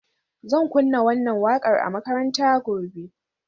Zan kunna wannan wakar a makaranta gobe.